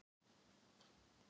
Nei það er af og frá.